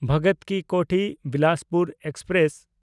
ᱵᱷᱚᱜᱚᱛ ᱠᱤ ᱠᱳᱴᱷᱤ–ᱵᱤᱞᱟᱥᱯᱩᱨ ᱮᱠᱥᱯᱨᱮᱥ